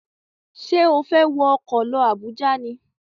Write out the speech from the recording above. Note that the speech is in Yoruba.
Ṣé o fẹ́ wọ ọkọ̀ lọ Àbújá ni?